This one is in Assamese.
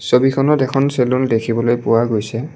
ছবিখনত এখন চেলুন দেখিবলৈ পোৱা গৈছে।